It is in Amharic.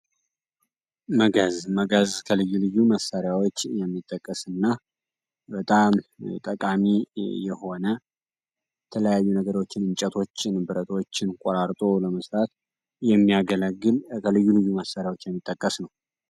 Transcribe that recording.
መጋዝ መጋዝ ከልዩ ልዩ መሳሪያዎች መካከል የሚጠቀስ እና በጣም ጠቃሚ የሆነ የተለያዩ ነገሮችን እንጨቶችን ፣ብረቶችን ቆራርጦ ለመስራት የሚያገለግል ከልዩ ልዩ መሳሪያዎች የሚጠቅስ ነው።